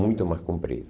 Muito mais comprido.